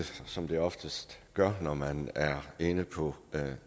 som det oftest gør når man er inde på